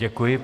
Děkuji.